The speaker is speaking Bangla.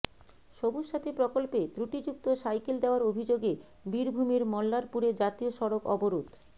সবুজসাথী প্রকল্পে ত্রুটিযুক্ত সাইকেল দেওয়ার অভিযোগে বীরভূমের মল্লারপুরে জাতীয় সড়ক অবরোধ